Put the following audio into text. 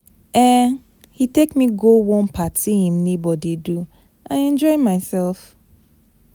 um He take me go one party im neighbor dey do. I enjoy myself.